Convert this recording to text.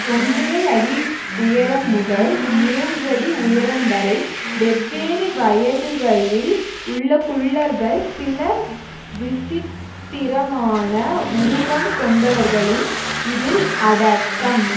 ஒன்றரையடி உயரம் முதல் மூன்றடி உயரம் வரை வெவ்வேறு வயதுகளில் உள்ள குள்ளர்கள் சில விசித்திரமான உருவம் கொண்டவர்களும் இதில் அடக்கம்